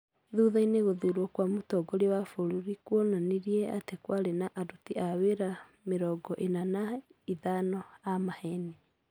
Thutha-inĩ gũthurwo kwa mũtongoria wa bũrũri kwonanirie atĩ kwarĩ na aruti wĩra mĩrongoena na ithano a maheeni.